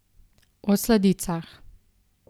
O sladicah.